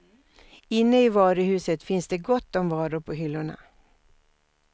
Inne i varuhuset finns det gott om varor på hyllorna.